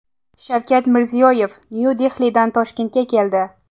Shavkat Mirziyoyev Nyu-Dehlidan Toshkentga keldi.